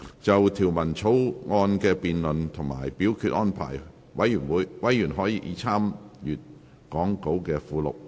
就條例草案的辯論及表決安排，委員可參閱講稿附錄。